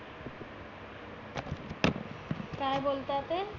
काय बोलता ते?